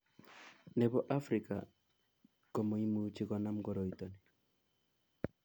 Nebo afrika komoimuchi konam koroitani